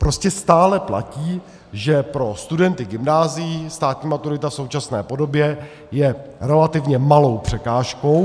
Prostě stále platí, že pro studenty gymnázií státní maturita v současné podobě je relativně malou překážkou.